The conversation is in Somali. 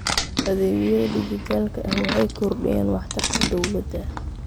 Adeegyada dijitaalka ah waxay kordhiyaan waxtarka dawladda.